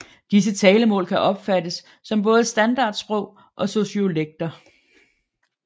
Disse talemål kan opfattes som både standardsprog og sociolekter